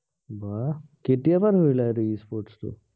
বাহ, কেতিয়াৰ পৰা ধৰিলা সেইটো e-sports টো